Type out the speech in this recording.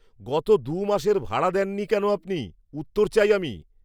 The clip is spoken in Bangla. গত দু' মাসের ভাড়া দেননি কেন আপনি? উত্তর চাই আমি!